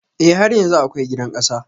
E, har yanzu akwai gidan ƙasa.